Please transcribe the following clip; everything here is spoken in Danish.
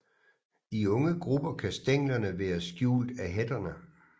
I unge grupper kan stænglerne være skjult af hætterne